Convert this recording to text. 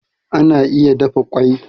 Ana iya dafa kwai